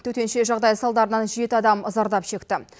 төтенше жағдай салдарынан жеті адам зардап шекті